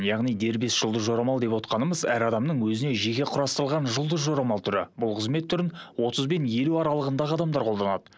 яғни дербес жұлдыз жорамал деп отырғанымыз әр адамның өзіне жеке құрастырылған жұлдыз жорамал түрі бұл қызмет түрін отыз бен елу аралығындағы адамдар қолданады